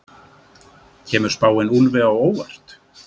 Kemur spáin Úlfi á óvart?